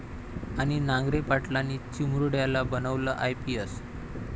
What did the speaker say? ...आणि नांगरे पाटलांनी चिमुरड्याला बनवलं आयपीएस!